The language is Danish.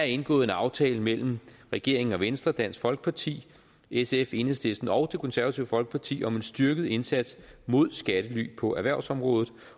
indgået en aftale mellem regeringen og venstre dansk folkeparti sf enhedslisten og det konservative folkeparti om en styrket indsats mod skattely på erhvervsområdet